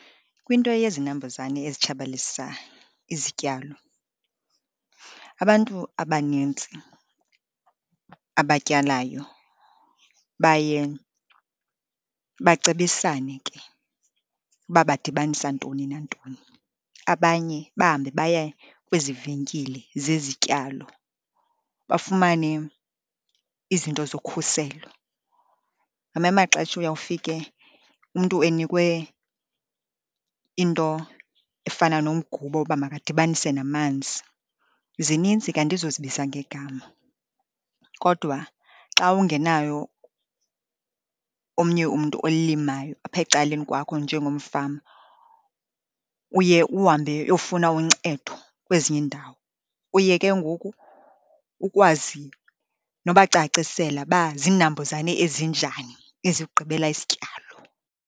Kwinto yezinambuzane ezitshabalilisa izityalo, abantu abanintsi abatyalayo baye bacebisane ke uba badibanisa ntoni nantoni. Abanye bahambe baya kwezi venkile zezityalo, bafumane izinto zokhuselo. Ngamanye amaxesha uyawufika umntu enikwe into efana nomgubo woba makadibanise namanzi. Zinintsi ke, andizozibiza ngegama. Kodwa xa ungenayo omnye umntu olimayo apha ecaleni kwakho njengomfama, uye uhambe uyofuna uncedo kwezinye iindawo, uye ke ngoku ukwazi nobacacisela uba ziinambuzane ezinjani ezikugqibela isityalo.